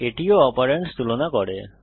এটিও অপারেন্ডস তুলনা করে